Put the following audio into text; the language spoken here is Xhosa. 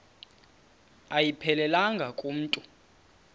ayiphelelanga ku mntu